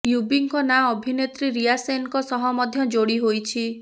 ୟୁବିଙ୍କ ନାଁ ଅଭିନେତ୍ରୀ ରିୟା ସେନଙ୍କ ସହ ମଧ୍ୟ ଯୋଡ଼ି ହୋଇଛି